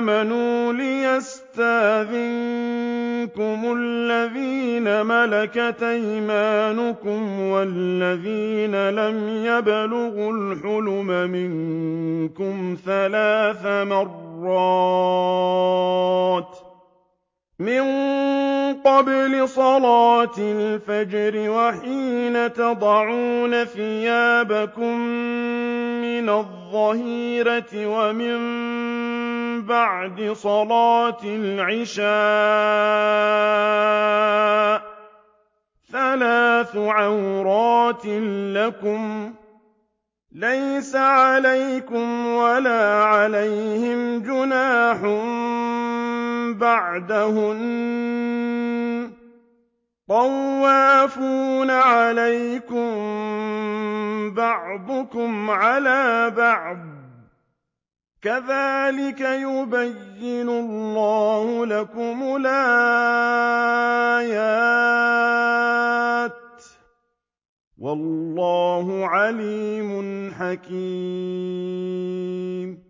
آمَنُوا لِيَسْتَأْذِنكُمُ الَّذِينَ مَلَكَتْ أَيْمَانُكُمْ وَالَّذِينَ لَمْ يَبْلُغُوا الْحُلُمَ مِنكُمْ ثَلَاثَ مَرَّاتٍ ۚ مِّن قَبْلِ صَلَاةِ الْفَجْرِ وَحِينَ تَضَعُونَ ثِيَابَكُم مِّنَ الظَّهِيرَةِ وَمِن بَعْدِ صَلَاةِ الْعِشَاءِ ۚ ثَلَاثُ عَوْرَاتٍ لَّكُمْ ۚ لَيْسَ عَلَيْكُمْ وَلَا عَلَيْهِمْ جُنَاحٌ بَعْدَهُنَّ ۚ طَوَّافُونَ عَلَيْكُم بَعْضُكُمْ عَلَىٰ بَعْضٍ ۚ كَذَٰلِكَ يُبَيِّنُ اللَّهُ لَكُمُ الْآيَاتِ ۗ وَاللَّهُ عَلِيمٌ حَكِيمٌ